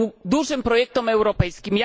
dużym projektom europejskim.